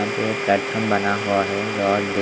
यहां पे प्लेटफार्म बना हुआ है '--